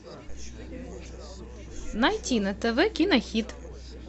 найти на тв кинохит